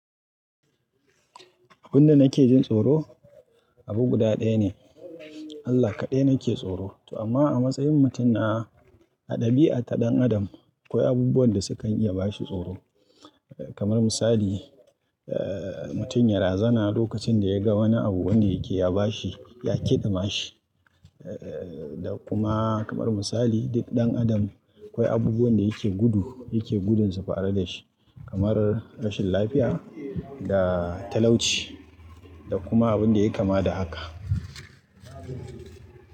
Abunda nake jin tsoro abu guda ɗaya ne. Allah kaɗai nake tsoro. Amma a matsayin mutum na, a ɗabi'a ta ɗan adam akwai abubuwan da sukan iya bashi tsoro. Kamar misali, eh, mutum ya razana lokacin da ya ga wani abu wanda yake ya bashi, ya kidama shi. Eh, da kuma kamar misali duk ɗan adam akwai abubuwan da yake gudu, yake gudunsu faru da shi. Kamar rashin lafiya da talauci da kuma abin da yayi kama da haka.